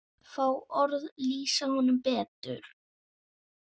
Fá orð lýsa honum betur.